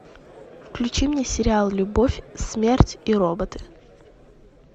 включи мне сериал любовь смерть и роботы